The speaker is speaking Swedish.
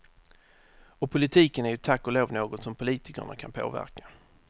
Och politiken är ju tack och lov något som politikerna kan påverka.